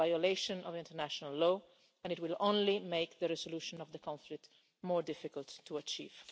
It is a violation of international law and it will only make the resolution of the conflict more difficult to achieve.